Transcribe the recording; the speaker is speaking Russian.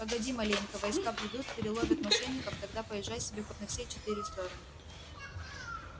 погоди маленько войска придут переловят мошенников тогда поезжай себе хоть на все четыре стороны